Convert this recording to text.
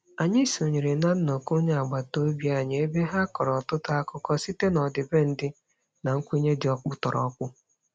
Anyị sonyere na nnọkọ onye agbataobi anyị ebe ha kọrọ ọtụtụ akụkọ site n'ọdịbendị na nkwenye dị ọkpụtọrọkpụ.